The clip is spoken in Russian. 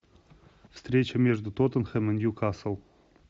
встреча между тоттенхэм и ньюкасл